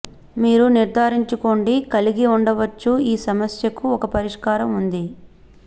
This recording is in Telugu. మీరు నిర్ధారించుకోండి కలిగి ఉండవచ్చు ఈ సమస్యకు ఒక పరిష్కారం ఉంది